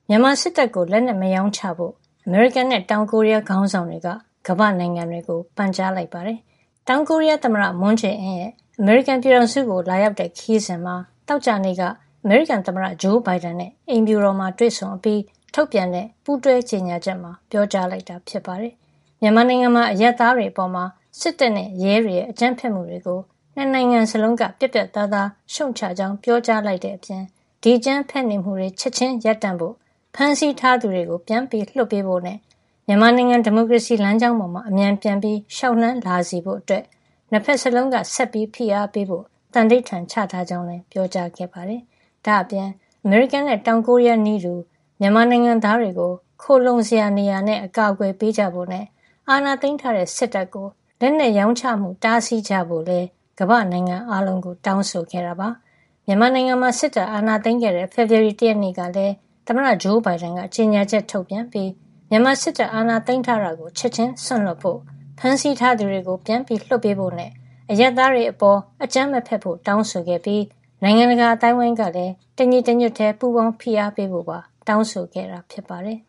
မြန်မာစစ်တပ်ကို လက်နက်မရောင်းချဖို့ အမေရိကန်နဲ့ တောင်ကိုရီးယား ခေါင်းဆောင်တွေက ကမ္ဘာ့နိုင်ငံတွေကို ပန်ကြားလိုက်ပါတယ်။ တောင်ကိုရီးယားသမ္မတ မွန်းဂျေးအင်းရဲ့ အမေရိကန်ပြည်ထောင်စုကို လာရောက်တဲ့ ခရီးစဉ်မှာ သောကြာနေ့က အမေရိကန်သမ္မတ ဂျိုးဘိုင်ဒန်နဲ့ အိမ်ဖြူတော်မှာ တွေ့ဆုံအပြီး ထုတ်ပြန်တဲ့ ပူးတွဲကြေညာချက်မှာ ပြောကြားလိုက်တာ ဖြစ်ပါတယ်။ မြန်မာနိုင်ငံမှာ အရပ်သားတွေအပေါ် စစ်တပ်နဲ့ ရဲတွေရဲ့ အကြမ်းဖက်မှုတွေကို ၂ နိုင်ငံစလုံးက ပြတ်ပြတ်သားသား ရှုတ်ချကြောင်း ပြောကြားလိုက်တဲ့အပြင် ဒီအကြမ်းဖက်နေမှုတွေ ချက်ချင်းရပ်တန့်ဖို့၊ ဖမ်းဆီးထားသူတွေကို ပြန်ပြီး လွှတ်ပေးဖို့နဲ့ မြန်မာနိုင်ငံ ဒီမိုကရေစီလမ်းကြောင်းပေါ် အမြန်ပြန်ပြီး လျှောက်လှမ်းလာစေဖို့တွေ အတွက် နှစ်ဖက်စလုံးက ဆက်လက်ဖိအားပေးဖို့ သန္နိဋ္ဌာန်ချထားကြကြောင်းလည်း ပြောပါတယ်။ ဒါ့အပြင် အမေရိကန်နဲ့ တောင်ကိုရီးယားနည်းတူ မြန်မာနိုင်ငံသားတွေကို ခိုလှုံစရာ နေရာနဲ့ အကာကွယ်ပေးကြဖို့နဲ့ အာဏာသိမ်းထားတဲ့ စစ်တပ်ကို လက်နက်ရောင်းချမှု တားဆီးကြဖို့လည်း ကမ္ဘာ့နိုင်ငံအားလုံးကို တောင်းဆိုခဲ့တာပါ။ မြန်မာနိုင်ငံမှာ စစ်တပ်အာဏာသိမ်းခဲ့တဲ့ ဖေဖော်ဝါရီလ ၁ ရက်နေ့ကလည်း သမ္မတ ဂျိုးဘိုင်ဒန်က ကြေညာချက်ထုတ်ပြန်ပြီး မြန်မာစစ်တပ် အာဏာသိမ်းထားတာကို ချက်ချင်းစွန့်လွှတ်ဖို့၊ ဖမ်းဆီးထားသူတွေကို ပြန်လွှတ်ဖို့နဲ့ အရပ်သားတွေအပေါ် မကြမ်းမဖက်ဖို့ တောင်းဆိုခဲ့ပြီး နိုင်ငံတကာ အသိုင်းအဝိုင်းကလည်း တညီတညွတ်တည်း ပူးပေါင်းဖိအားပေးဖို့ တောင်းဆိုခဲ့တာ ဖြစ်ပါတယ်